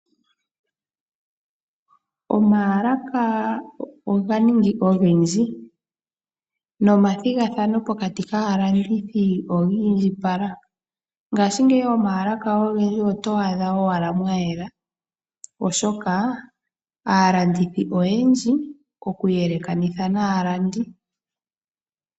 Omaalaka oga ningi ogendji, nomathigathano pokati kaalandithi oga indjipala. Ngashingeyi momaalaka ogendji oto adha owala mwa yela oshoka aalandithi oyendji okuyelekanitha naalandi.